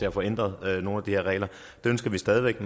at få ændret nogle af de her regler det ønsker vi stadig væk